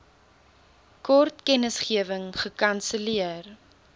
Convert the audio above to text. kort kennisgewing gekanselleer